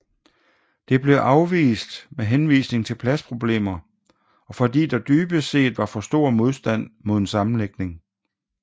Det blev afvist med henvisning til pladsproblemer og fordi der dybest set var for stor modstand mod en sammenlægning